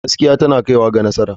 Gaskiya tana kaiwa ga nasara.